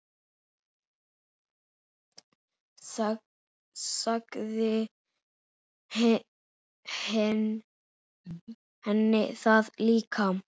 Sagði henni það líka.